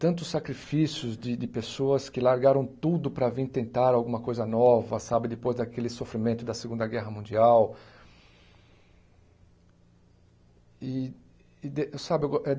Tantos sacrifícios de de pessoas que largaram tudo para vir tentar alguma coisa nova, depois daquele sofrimento da Segunda Guerra Mundial.